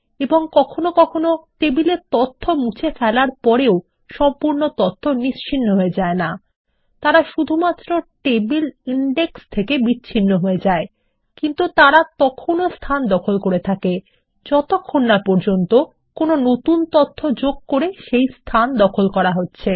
এবং কখনও কখনও টেবিল এর তথ্য মুছে ফেলার পরও সম্পূর্ণ তথ্য নিশ্চিহ্ন হয়ে যায়না তারা শুধুমাত্র টেবিল ইনডেক্স থেকে বিচ্ছিন্ন হয়ে যায় কিন্তু তারা স্থান দখল করে থাকে যতক্ষণ না পর্যন্ত নতুন তথ্য যোগ করে সেই স্থান দখল করা হচ্ছে